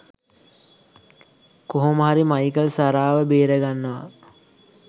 කොහොම හරි මයිකල් සාරාව බේරගන්නවා.